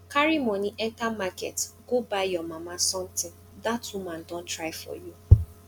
carry money enter market go buy your mama something dat woman don try for you